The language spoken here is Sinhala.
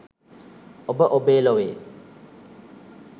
ඔබ ඔබේ ලොවේ